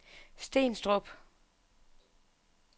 Stenstrup